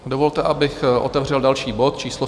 Dovolte, abych otevřel další bod číslo